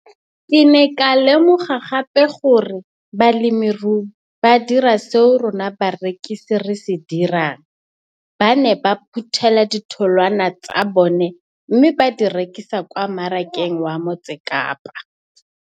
Ke ne ka lemoga gape gore balemirui ba dira seo rona barekisi re se dirang, ba ne ba phuthela ditholwana tsa bona mme ba di rekisa kwa marakeng wa Motsekapa.